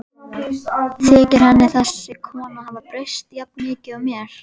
Þykir henni þessi kona hafa breyst jafn mikið og mér?